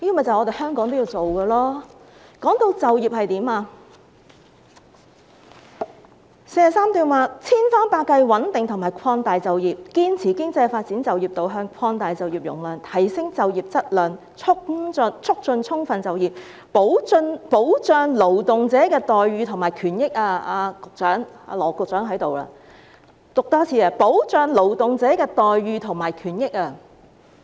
至於就業，第43段提到"千方百計穩定和擴大就業，堅持經濟發展就業導向，擴大就業容量，提升就業質量，促進充分就業，保障勞動者待遇和權益"——羅局長正在席，我再多讀一次——"保障勞動者待遇和權益"。